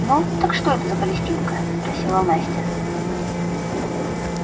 ну так что это за палестинка спросила настя